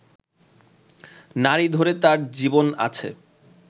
নাড়ি ধরে তার জীবন আছে